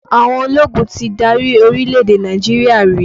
Àwọn ológun ti dárí orílẹ̀-èdè Nàìjíríà rí